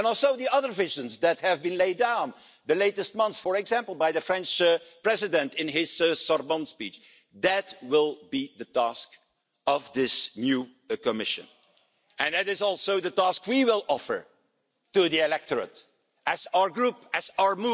policies. And the austerity imposed on Member States in the past without regard to consequences and also without regard to whether this would actually help anything that has seriously undermined the European promise of increasing living standards. But increasing the quality of life is not just some minor thing that you can forget